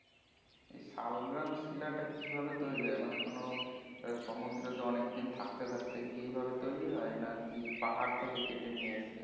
শাল গ্রাম শিলা টা কি ভাবে তৈরি হয় মানে কোন সমুদ্রেরতে অনেক দিন থাকতে থাকতে কি এই ভাবে তৈরি হয় না কি পাহাড় থেকে কেটে নিয়ে এসছে